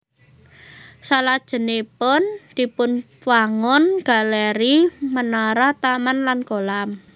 Salajengipun dipunwangun galéri menara taman lan kolam